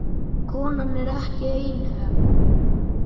Konan er ekki einhöm.